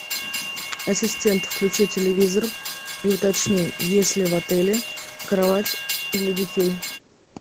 ассистент включи телевизор и уточни есть ли в отеле кровать для детей